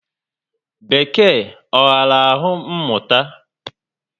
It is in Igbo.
Bekee ọ ghara alụ mụta?